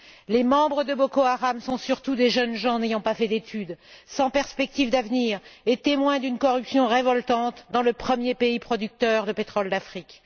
Les membres de Boko Haram sont surtout des jeunes gens n'ayant pas fait d'études, sans perspectives d'avenir et témoins d'une corruption révoltante dans le premier pays producteur de pétrole d'Afrique.